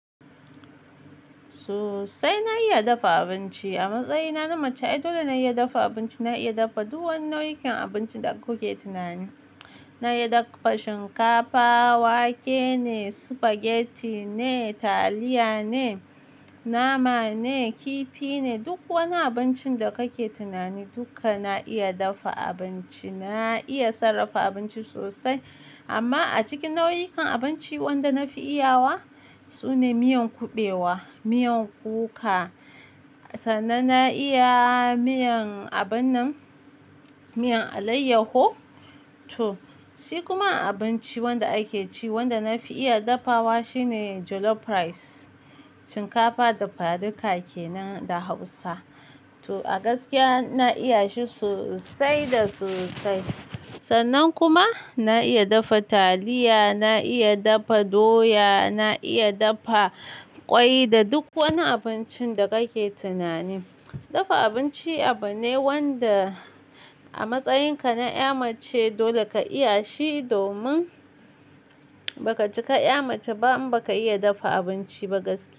Sosai na iya dafa abinci a matsayina na mace. Dole na iya dafa abinci. Na iya dafa dukan nau'ikan abincin da kuke tunani. Na iya dafa shinkafa, wake ne, spaghetti ne, taliya ne, nama ne, kifi ne, duk wani abincin da kake tunani dukka na iya dafa abinci. Na iya sarrafa abinci sosai, amma a cikin nau'ikan abinci wanda na fi iyawa sune miyan kuɓewa, miyan kuka. Sannan na iya miyan abun nan, miyan alayyaho to. Shi kuma abinci wanda ake ci wanda na fi iya dafawa shi ne jollof rice, shinkafa da faduka kenan da hausa. To a gaskiya na iya shi sosai da sosai. Sannan kuma na iya dafa taliya, na iya dafa doya, na iya dafa kwai da duk wani abincin da kake tunani. Dafa abinci abu ne wanda a matsayinka na 'ya mace dole ka iya shi. Domin ba ka cika 'ya mace ba in ba ka iya dafa abinci ba gaskiya.